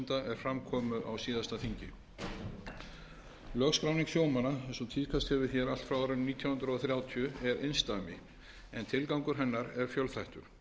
fram komu á síðasta þingi lögskráning sjómanna eins og tíðkast hefur hér allt frá árinu nítján hundruð þrjátíu er einsdæmi en tilgangur hennar er fjölþættur